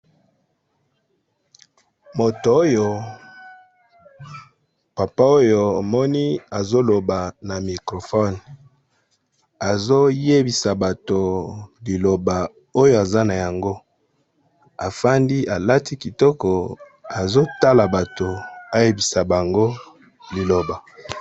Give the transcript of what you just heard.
Moto oyo, papa oyo omoni azoloba na microphone. Azoyebisa bato liloba oyo aza na yango afandi alati kitoko azotala bato eyebisa bango liloba.